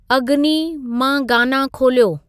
अगनी' मां गाना खोलियो